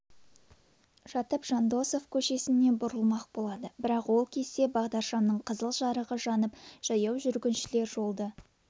жатып жандосов көшесіне бұрылмақ болады бірақ ол кезде бағдаршамның қызыл жарығы жанып жаяу жүргіншілер жолды